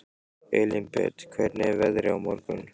Elínbet, hvernig er veðrið á morgun?